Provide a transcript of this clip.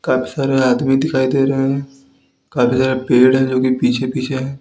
काफी सारे आदमी दिखाई दे रहे है काफी सारे पेड़ है जो की पीछे पीछे हैं।